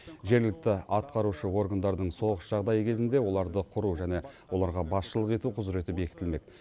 жергілікті атқарушы органдардың соғыс жағдайы кезінде оларды құру және оларға басшылық ету құзыреті бекітілмек